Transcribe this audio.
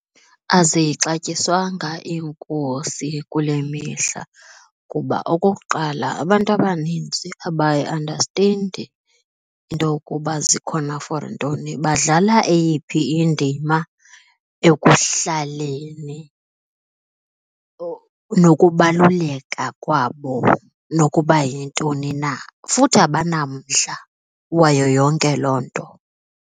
Azixatyiswanga iinkosi kule mihla kuba okokuqala, abantu abanintsi abayiandastendi into ukuba zikhona for ntoni, badlala eyiphi indima ekuhlaleni nokubaluleka kwabo, nokuba yintoni na. Futhi abanamdla wayo yonke loo nto.